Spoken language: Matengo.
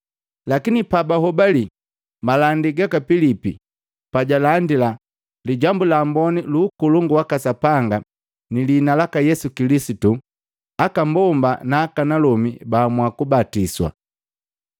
Lakini pabahobali malandi gaka Pilipi pajaalandila Lijambu la Amboni lukolongu waka Sapanga ni liina laka Yesu Kilisitu, aka mbomba na akanalomi baamua kubatiswa.